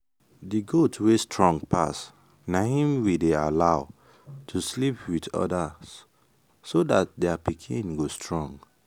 the goat wey strong pass na him we dey allow to sleep with others so that their pikin go strong.